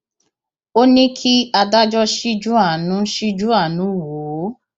ó ní kí adájọ ṣíjú àánú ṣíjú àánú wò ó